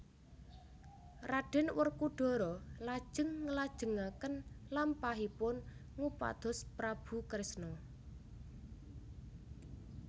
Raden Werkudara lajeng nglajengaken lampahipun ngupados Prabu Kresna